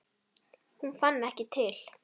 Hún fann ekki til.